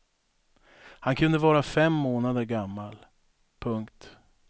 Han kunde vara fem månader gammal. punkt